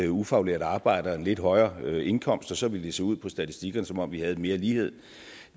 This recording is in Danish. ufaglært arbejde og en lidt højere indkomst for så ville det se ud på statistikkerne som om vi havde mere lighed